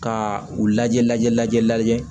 Ka u lajɛ lajɛ lajɛli lajɛ